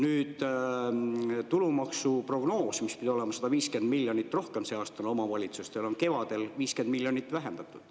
Nüüd, prognoos näitas, et 150 miljonit pidi rohkem laekuma sel aastal omavalitsustele, aga seda on kevadel 50 miljonit vähendatud.